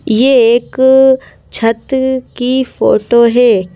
ये एक छत की फोटो है।